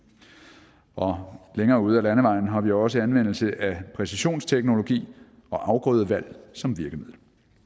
og længere ude ad landevejen har vi også anvendelse af præcisionsteknologi og afgrødevalg som virkemidler